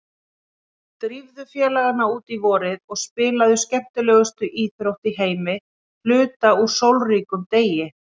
Drífðu félagana út í vorið og spilið skemmtilegustu íþrótt í heimi hluta úr sólríkum degi.